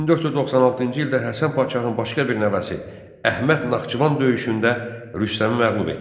1496-cı ildə Həsən Padşahın başqa bir nəvəsi Əhməd Naxçıvan döyüşündə Rüstəmi məğlub etdi.